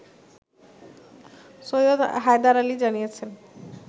সৈয়দ হায়দার আলী জানিয়েছেন